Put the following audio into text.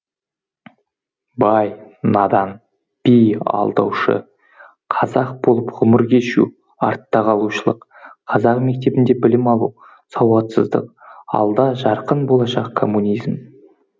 бай надан би алдаушы қазақ болып ғұмыр кешу артта қалушылық қазақ мектебінде білім алу сауатсыздық алда жарқын болашақ коммунизм